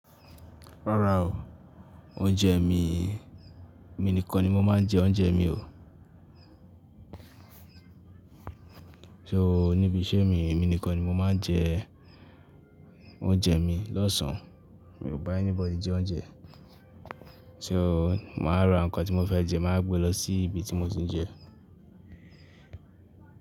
Rárá o, oúnjẹ mi, mi nìkan ni mo máa ń jẹ oúnjẹ mi o. So níbi iṣẹ́ mi, emi nìkan ni mo máa ń jẹ oúnjẹ mi lọ́sàn-án. Mi ò bá anybody jẹ oúnjẹ. So, mà á ra nǹkan tí mo fẹ́ jẹ, mà á gbe lọ sí ibi tí mo ti ń jẹ.